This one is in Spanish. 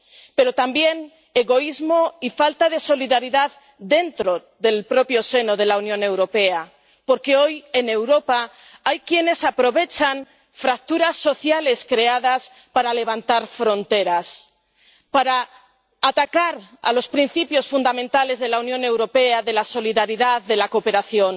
Pero también egoísmo y falta de solidaridad dentro del propio seno de la Unión Europea, porque hoy, en Europa, hay quienes aprovechan fracturas sociales creadas para levantar fronteras, para atacar los principios fundamentales de la Unión Europea, de la solidaridad, de la cooperación.